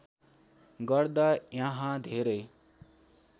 गर्दा यहाँ धेरै